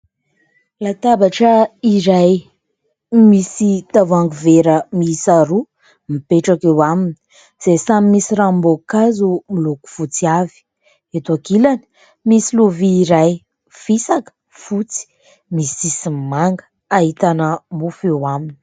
Latabatra iray misy tavoangy vera miisa roa mipetraka eo aminy, izay samy misy ranom-boankazo moloko fotsy avy. Eto ankilany misy lovia iray? fisaka fotsy misy sisiny manga ahitana mofo eo aminy.